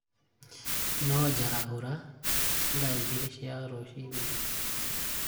No njarahũra thaa igĩrĩ cia rũcinĩ